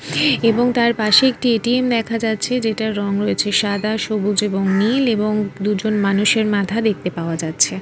এবং তার পাশে একটি এ.টি.এম. দেখা যাচ্ছে যেটার রং রয়েছে সাদা সবুজ এবং নীল এবং দুজন মানুষের মাথা দেখতে পাওয়া যাচ্ছে।